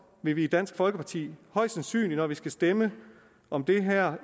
vil vi i dansk folkeparti højst sandsynligt når vi efterfølgende skal stemme om det her